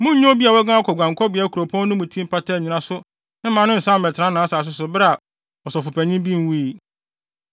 “ ‘Munnnye obi a waguan akɔ guankɔbea kuropɔn mu no ti mpata nnyina so mma no nsan mmɛtena nʼasase so bere a ɔsɔfopanyin bi nwui.